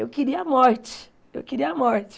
Eu queria a morte, eu queria a morte.